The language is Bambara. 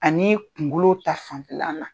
Ani kunkolo ta fanfɛlan na.